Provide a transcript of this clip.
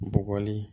Bɔgɔli